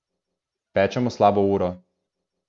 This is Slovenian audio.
Pečemo slabo uro.